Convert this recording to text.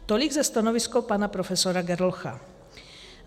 Tolik ze stanoviska pana profesora Gerlocha.